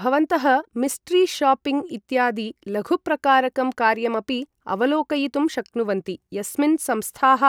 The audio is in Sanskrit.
भवन्तः मिस्ट्री शॉपिङ्ग् इत्यादि लघुप्रकारकं कार्यमपि अवलोकयितुं शक्नुवन्ति, यस्मिन् संस्थाः